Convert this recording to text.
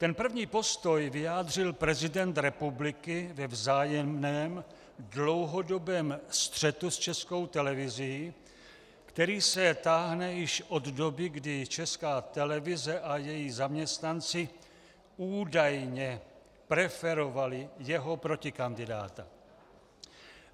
Ten první postoj vyjádřil prezident republiky ve vzájemném dlouhodobém střetu s Českou televizí, který se táhne již od doby, kdy Česká televize a její zaměstnanci údajně preferovali jeho protikandidáta.